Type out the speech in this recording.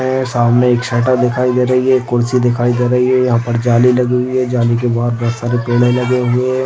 यहाँ सामने एक शटर दिखाई दे रही है कुर्सी दिखाई दे रही है यहाँ पर जाली लगी हुई है जाली के बाहर बहुत सारे पेड़ लगे हुए--